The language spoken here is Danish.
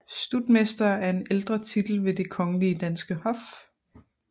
Stutmester er en ældre titel ved Det Kongelige Danske Hof